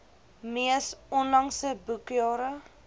mees onlangse boekjare